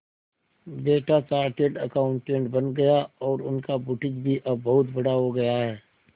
बेटा chartered accountant बन गया और उनका बुटीक भी अब बहुत बड़ा हो गया है